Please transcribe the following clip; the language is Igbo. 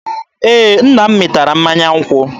Ee, nna m mịtara mmanya nkwụ.